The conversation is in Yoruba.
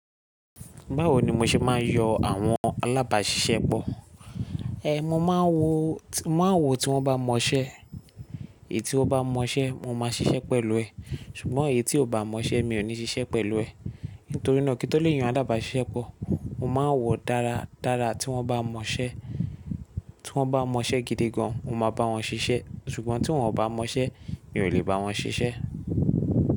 Báwo ni mo ṣe máa ń yọ àwọn alábàṣiṣẹ́pọ̀? Ẹ̀, mo máa wo, mo máa wo tí wọ́n bá mọ iṣẹ́. Èyí tí ó bá mọ iṣẹ́, mo máa ṣiṣẹ́ pẹ̀lú ẹ̀. Ṣùgbọ́n èyí tí kò bá mọ iṣẹ́, mi ò ní ṣiṣẹ́ pẹ̀lú ẹ̀. Nítorí náà kí tó lè yan alábàṣiṣẹ́pọ̀, mo máa ń wò dára dára tí wọ́n bá mọ iṣẹ́. Tí wọ́n bá mọ iṣẹ́ gidi gan, mo máa bá wọn ṣiṣẹ́. Ṣùgbọ́n tí wọ́n kò bá mọ iṣẹ́, mi ò lè bá wọn ṣiṣẹ́